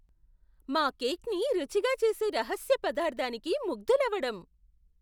మా కేక్ని రుచిగా చేసే రహస్య పదార్థానికి ముగ్ధులవడం